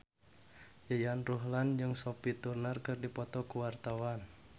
Yayan Ruhlan jeung Sophie Turner keur dipoto ku wartawan